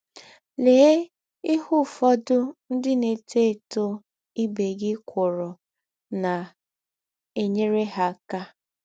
Lee ihe ụfọdụ ndị na - etọ etọ ibe gị kwụrụ na - enyere ha aka.